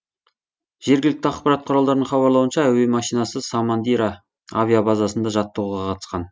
жергілікті ақпарат құралдарының хабарлауынша әуе машинасы самандира авиабазасында жаттығуға қатысқан